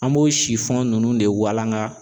An b'o ninnu de walanka.